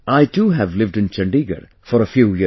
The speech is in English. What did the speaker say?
I too, have lived in Chandigarh for a few years